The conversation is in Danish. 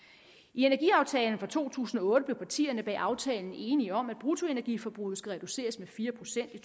i energiaftalen fra to tusind og otte blev partierne bag aftalen enige om at bruttoenergiforbruget skal reduceres med fire procent i